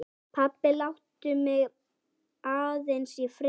Pabbi, láttu mig aðeins í friði.